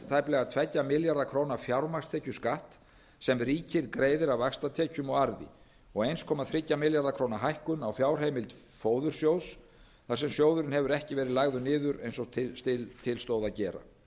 tæplega tveggja milljarða króna fjármagnstekjuskatt sem ríkið greiðir af vaxtatekjum og arði og einn komma þrjá milljarða króna hækkun á fjárheimild fóðursjóðs þar sem sjóðurinn hefur ekki verið lagður niður eins og til stóð að gera